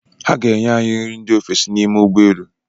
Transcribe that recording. Ha ga-enye anyị nri ndị ofesi n'ime ụgbọ elu.